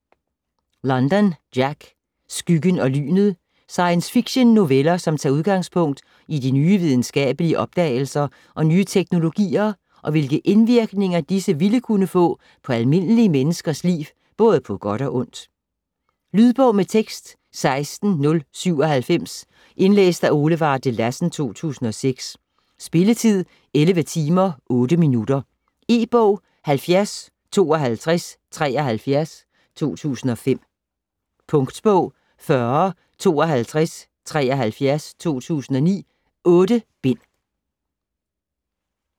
London, Jack: Skyggen og lynet Science fiction noveller som tager udgangspunkt i de nye videnskabelige opdagelser og nye teknologier, og hvilke indvirkninger disse ville kunne få på almindelige menneskers liv både på godt og ondt. Lydbog med tekst 16097 Indlæst af Ole Varde Lassen, 2006. Spilletid: 11 timer, 8 minutter. E-bog 705273 2005. Punktbog 405273 2009. 8 bind.